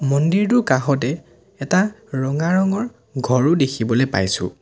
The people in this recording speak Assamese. মন্দিৰটোৰ কাষতে এটা ৰঙা ৰঙৰ ঘৰও দেখিবলে পাইছোঁ।